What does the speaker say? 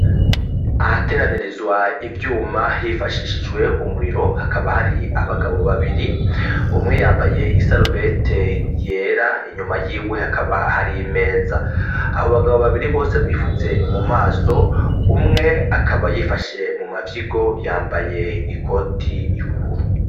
Ahateranirizwa ivyuma hifashishijwe umuriro hakaba hari abagabo babiri umwe yambaye i sarubete yera inyuma yiwe hakaba hari meza abo bagabo babiri bose bifutse mu maso umwe akaba yifashe mu mafyigo yambaye ikoti y'ubururu.